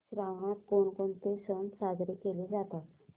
श्रावणात कोणकोणते सण साजरे केले जातात